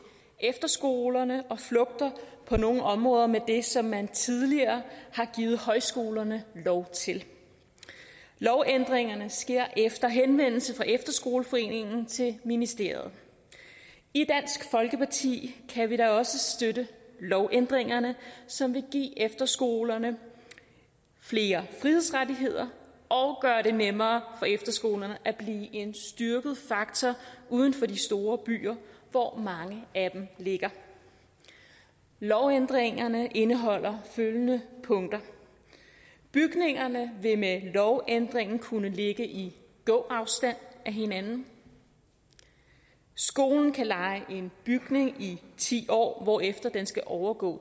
efterskolerne og flugter på nogle områder med det som man tidligere har givet højskolerne lov til lovændringerne sker efter henvendelse fra efterskoleforeningen til ministeriet i dansk folkeparti kan vi da også støtte lovændringerne som vil give efterskolerne flere frihedsrettigheder og gøre det nemmere for efterskolerne at blive en styrket faktor uden for de store byer hvor mange af dem ligger lovændringerne indeholder følgende punkter bygningerne vil med lovændringen kunne ligge i gåafstand til hinanden skolen kan leje en bygning i ti år hvorefter den skal overgå